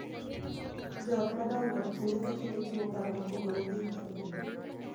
Jo ot madongo kinde ka kinde chiwo paro mopogore gi mag jonyuol,